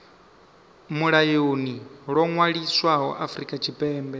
mulayoni ḽo ṅwaliswaho afrika tshipembe